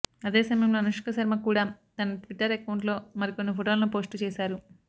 అదే సమయంలో అనుష్క శర్మ కూడా తన ట్వీటర్ అకౌంట్లో మరికొన్ని ఫోటోలను పోస్ట్ చేశారు